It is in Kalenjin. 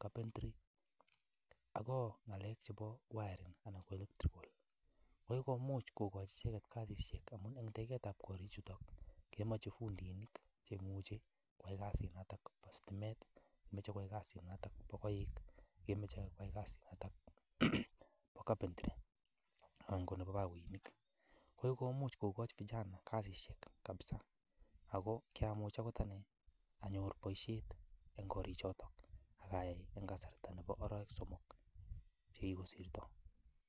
carpentry, agot ngalek chebo wiring anan ko electrical ko kigomuch kogochi icheget kasishek amun en teketab korichuto kemoche fundinik che imuche koyai kasinoto bo sitimet moche koyai kasinoto bo koik, moche koyai kasinoto bo carpentry anan ko nebo bogoinik. Ko kigomuch kogochi vijana kasishek kabisa ago kyamuch agot ane anyor boisiet eng korichoto ak ayai en kasarta nebo arawek somok che kogosirto.